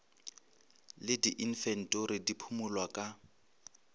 le diinfentori di phimolwa ka